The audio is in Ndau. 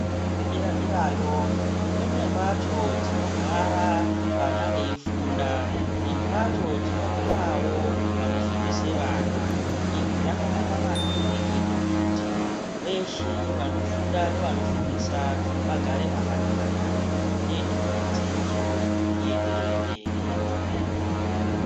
zvikora zvedera derayo ,kune mbatso dzinogara vana veifunda nembatso dzinogara vanofundisa vana ,izvi zvakanaka maningi kuite kuti veshe vanofunda nevanofundisa vagare pakanaka, zvinoite kuti dzidzo ienderere mberi zvakanaka.